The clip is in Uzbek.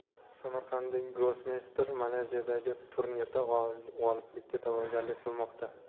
Samarqandlik grossmeyster Malayziyadagi turnirda g‘oliblikka da’vogarlik qilmoqda.